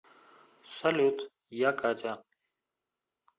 салют я катя